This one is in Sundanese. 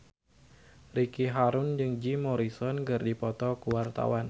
Ricky Harun jeung Jim Morrison keur dipoto ku wartawan